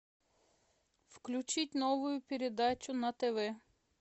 включить новую передачу на тв